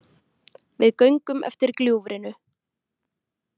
Við göngum eftir gljúfrinu